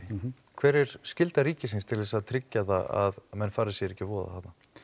hver er skylda ríkisins til þess að tryggja það að menn fari sér ekki að voða